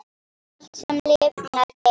Allt, sem lifnar, deyr.